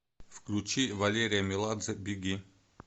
включи валерия меладзе беги